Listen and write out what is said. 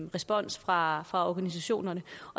respons fra fra organisationerne